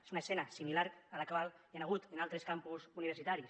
és una escena similar a la que hi ha hagut en altres campus universitaris